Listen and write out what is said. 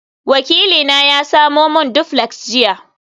wakilina ya samo min duplex jiya